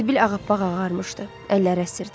Sibil ağappaq ağarmışdı, əlləri əsirdi.